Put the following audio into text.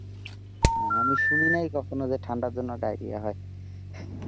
আমি শুনি নাই কখনো যে ঠান্ডার জন্য ডায়রিয়া হয়।